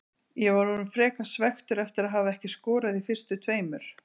Ég var orðinn frekar svekktur eftir að hafa ekki skorað í fyrstu tveimur.